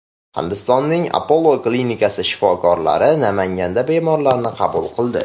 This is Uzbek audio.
Hindistonning Apollo klinikasi shifokorlari Namanganda bemorlarni qabul qildi.